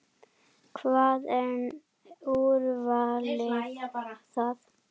Hvað, er úrvalið þar?